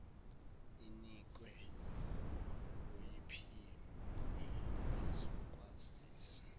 inikwe oyiphini lezokwazisa